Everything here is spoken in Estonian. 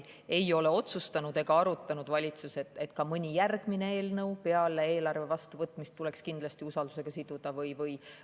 Aga valitsus ei ole otsustanud ega arutanud, et ka mõni järgmine eelnõu peale eelarve vastuvõtmist tuleks kindlasti usaldus siduda.